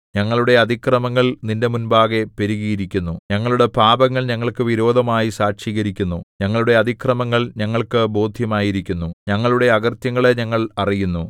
ഞങ്ങളുടെ അതിക്രമങ്ങൾ നിന്റെ മുമ്പാകെ പെരുകിയിരിക്കുന്നു ഞങ്ങളുടെ പാപങ്ങൾ ഞങ്ങൾക്കു വിരോധമായി സാക്ഷീകരിക്കുന്നു ഞങ്ങളുടെ അതിക്രമങ്ങൾ ഞങ്ങൾക്കു ബോദ്ധ്യമായിരിക്കുന്നു ഞങ്ങളുടെ അകൃത്യങ്ങളെ ഞങ്ങൾ അറിയുന്നു